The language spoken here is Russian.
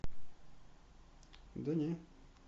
да не